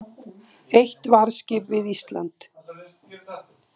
Eitt varðskip við Ísland